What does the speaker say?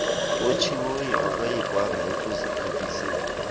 otshiweyo akayekiswanga ekuziqheliseni